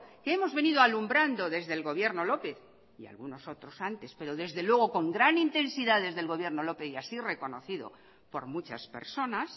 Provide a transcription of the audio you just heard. que hemos venido alumbrando desde el gobierno lópez y algunos otros antes pero desde luego con gran intensidad desde el gobierno lópez y así reconocido por muchas personas